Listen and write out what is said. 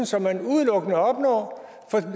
som man udelukkende opnår